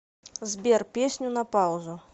сбер песню на паузу